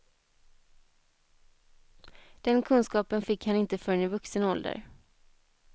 Den kunskapen fick han inte förrän i vuxen ålder.